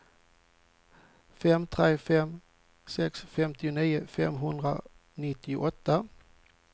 fem tre fem sex femtionio femhundranittioåtta